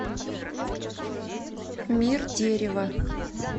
мир дерева